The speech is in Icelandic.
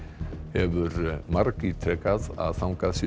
hefur margítrekað að þangað séu